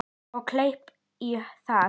Og kleip í það.